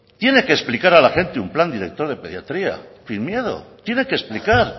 tiene que explicar a la gente un plan director de pediatría sin miedo tiene que explicar